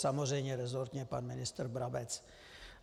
Samozřejmě resortně pan ministr Brabec.